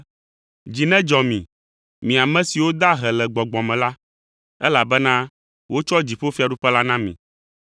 “Dzi nedzɔ mi, mi ame siwo da ahe le gbɔgbɔ me la, elabena wotsɔ dziƒofiaɖuƒe la na mi.